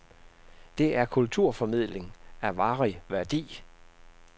Det er kulturformidling af varig værdi.